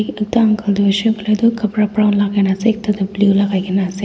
uncle du huishey kuiley du kapra brown lagai na asey ekta du blue lagaigina asey.